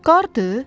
Qardır?